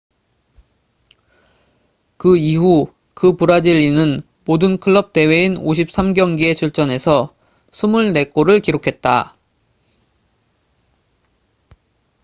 그 이후 그 브라질인은 모든 클럽 대회인 53경기에 출전해서 24골을 기록했다